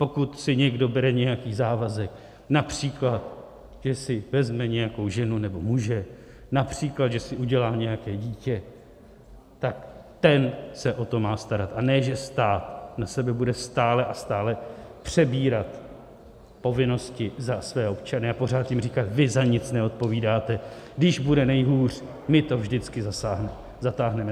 Pokud si někdo bere nějaký závazek, například že si vezme nějakou ženu nebo muže, například že si udělá nějaké dítě, tak ten se o to má starat, a ne že stát na sebe bude stále a stále přebírat povinnosti za své občany a pořád jim říkat, vy za nic neodpovídáte, když bude nejhůř, my to vždycky zatáhneme.